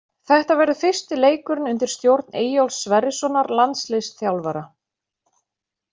Þetta verður fyrsti leikurinn undir stjórn Eyjólfs Sverrissonar landsliðsþjálfara.